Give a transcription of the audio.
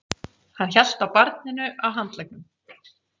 Hann hélt á barninu á handleggnum.